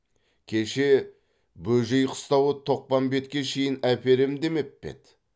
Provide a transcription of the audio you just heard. кеше бөжей қыстауы тоқпамбетке шейін әперем демеп пе еді